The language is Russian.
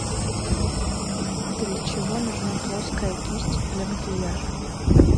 для чего нужна плоская кисть для макияжа